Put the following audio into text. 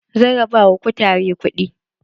Zan raba ma kutare kuɗi.